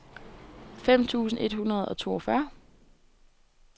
fem tusind et hundrede og toogfyrre